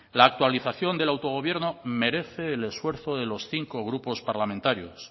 la actualización del autogobierno merece el esfuerzo de los cinco grupos parlamentarios